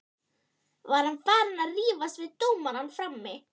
Var hann farinn að rífast við dómarana frammi?